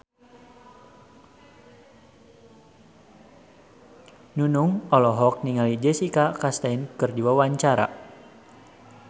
Nunung olohok ningali Jessica Chastain keur diwawancara